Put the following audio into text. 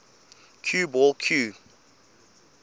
cue ball cue